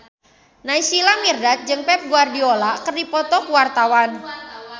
Naysila Mirdad jeung Pep Guardiola keur dipoto ku wartawan